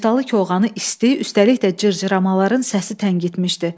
Niftalı Koxanı isti, üstəlik də cırcıramaların səsi təngitmişdi.